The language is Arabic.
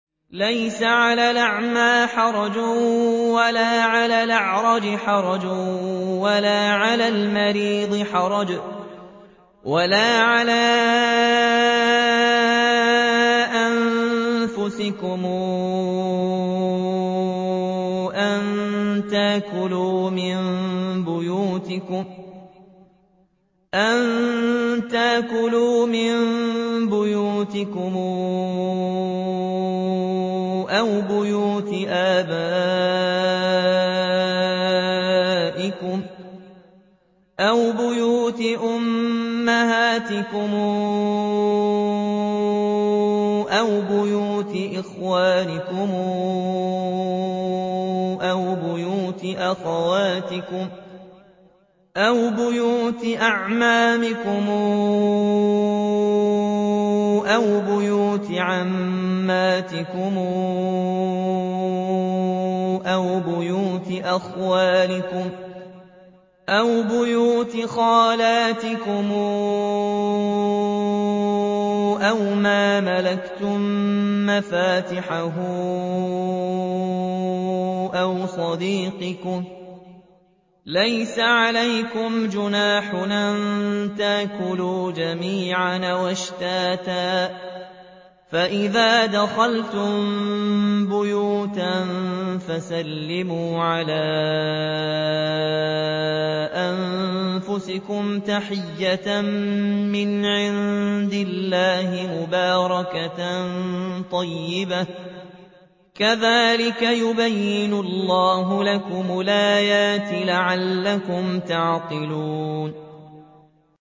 لَّيْسَ عَلَى الْأَعْمَىٰ حَرَجٌ وَلَا عَلَى الْأَعْرَجِ حَرَجٌ وَلَا عَلَى الْمَرِيضِ حَرَجٌ وَلَا عَلَىٰ أَنفُسِكُمْ أَن تَأْكُلُوا مِن بُيُوتِكُمْ أَوْ بُيُوتِ آبَائِكُمْ أَوْ بُيُوتِ أُمَّهَاتِكُمْ أَوْ بُيُوتِ إِخْوَانِكُمْ أَوْ بُيُوتِ أَخَوَاتِكُمْ أَوْ بُيُوتِ أَعْمَامِكُمْ أَوْ بُيُوتِ عَمَّاتِكُمْ أَوْ بُيُوتِ أَخْوَالِكُمْ أَوْ بُيُوتِ خَالَاتِكُمْ أَوْ مَا مَلَكْتُم مَّفَاتِحَهُ أَوْ صَدِيقِكُمْ ۚ لَيْسَ عَلَيْكُمْ جُنَاحٌ أَن تَأْكُلُوا جَمِيعًا أَوْ أَشْتَاتًا ۚ فَإِذَا دَخَلْتُم بُيُوتًا فَسَلِّمُوا عَلَىٰ أَنفُسِكُمْ تَحِيَّةً مِّنْ عِندِ اللَّهِ مُبَارَكَةً طَيِّبَةً ۚ كَذَٰلِكَ يُبَيِّنُ اللَّهُ لَكُمُ الْآيَاتِ لَعَلَّكُمْ تَعْقِلُونَ